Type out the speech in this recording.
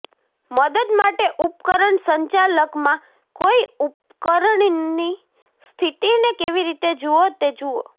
મદદ માટે ઉપકરણ સંચાલકમાં કોઈ ઉપકરણની સ્થિતિને કેવી રીતે જુઓ તે જુઓ